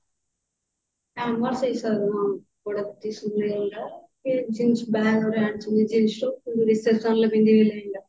ଆମର ବି ସେଇ ସବୁ ହଁ ଲେହେଙ୍ଗା ବାହାଘରରେ ଆଣିଛନ୍ତି ଜିନିଷ reception ରେ ପିନ୍ଧିବେ ଲେହେଙ୍ଗା